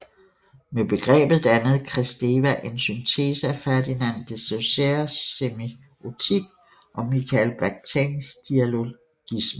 Med begrebet dannede Kristeva en syntese af Ferdinand de Sausurres semiotik og Mikhail Bakhtins dialogisme